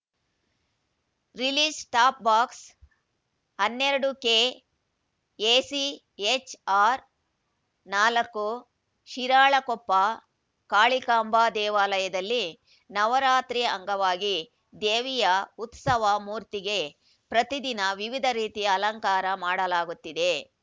release top box ಹನ್ನೆರಡು ಕೆ ಎಸಿ ಹೆಚ್‌ ಆರ್‌ ನಾಲ್ಕು ಶಿರಾಳಕೊಪ್ಪ ಕಾಳಿಕಾಂಬಾ ದೇವಾಲಯದಲ್ಲಿ ನವರಾತ್ರಿ ಅಂಗವಾಗಿ ದೇವಿಯ ಉತ್ಸವ ಮೂರ್ತಿಗೆ ಪ್ರತಿದಿನ ವಿವಿಧ ರೀತಿಯ ಅಲಂಕಾರ ಮಾಡಲಾಗುತ್ತಿದೆ